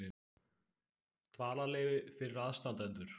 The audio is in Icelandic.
Dvalarleyfi fyrir aðstandendur.